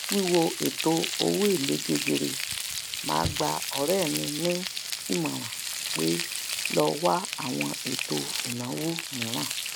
wíwo ètò owó èlé gegere ma gbà ọrẹ mi ni ìmọràn pé lọ wá àwọn ètò ìnáwó miran